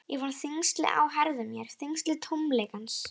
Ég fann þyngsli á herðum mér, þyngsli tómleikans.